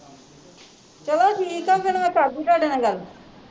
ਚਲੋ ਠੀਕ ਆ ਫੇਰ ਮੈਂ ਕਰਦੀ ਤੁਹਾਡੇ ਨਾਲ ਗੱਲ